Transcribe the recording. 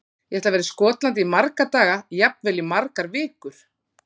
Ég ætla að vera í Skotlandi í marga daga, jafnvel í margar vikur.